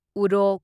ꯎꯔꯣꯛ